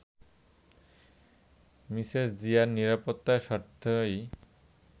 Mrs জিয়ার নিরাপত্তার স্বার্থেই